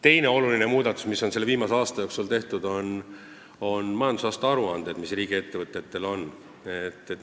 Teine oluline muudatus, mis on viimase aasta jooksul tehtud, puudutab riigiettevõtete majandusaasta aruandeid.